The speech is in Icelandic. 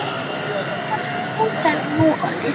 Þær voru bara svo sjaldgæfar núorðið.